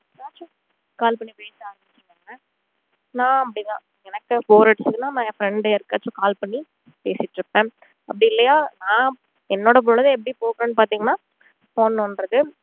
call பண்ணி பேச ஆரம்பிச்சுருவாங்க நான் அப்படித்தான் எனக்கு bore அடிச்சுதுன்னா என் friend யாருக்காச்சும் call பண்ணி பேசிட்டு இருப்பேன் அப்படி இல்லையா ஆஹ் என்னோட பொழுது எப்படி போகும்னு பாத்திங்கன்னா phone நோன்றது